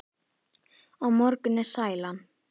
Á morgun er sælan.